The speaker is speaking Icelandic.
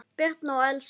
Birna og Elsa.